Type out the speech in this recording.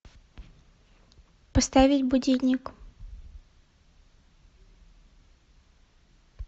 поставить будильник